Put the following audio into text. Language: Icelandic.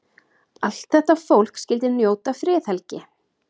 Allt þetta fólk skyldi njóta friðhelgi.